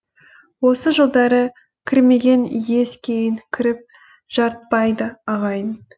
осы жылдары кірмеген ес кейін кіріп жарытпайды ағайын